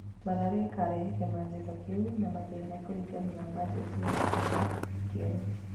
Mathare ĩkarĩha kĩmanjĩka kĩu na mathĩna kũringana na mbajeti yao kĩmera kĩerũ.